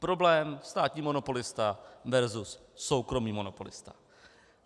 Problém státní monopolista versus soukromý monopolista.